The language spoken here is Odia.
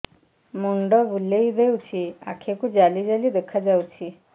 ମୁଣ୍ଡ ବୁଲେଇ ଦେଉଛି ଆଖି କୁ ଜାଲି ଜାଲି ଦେଖା ଯାଉଛି